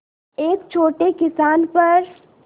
एक छोटे किसान पर